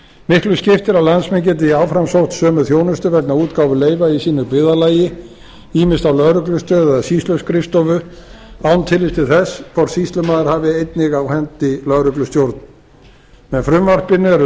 miklu skiptir að landsmenn geti áfram sótt sömu þjónustu vegna útgáfu leyfa í sínu byggðarlagi ýmist á lögreglustöð eða sýsluskrifstofu án tillits til þess hvort sýslumaður hafi einnig á hendi lögreglustjórn með frumvarpinu eru